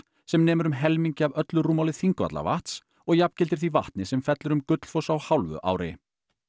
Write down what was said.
sem nemur um helmingi af öllu rúmmáli Þingvallavatns og jafngildir því vatni sem fellur um Gullfoss á hálfu ári